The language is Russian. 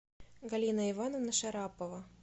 галина ивановна шарапова